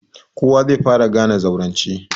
Kowa zai fara gane zaurance.